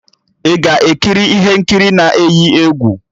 Ị ga-ekiri ihe nkiri na-eyi egwu?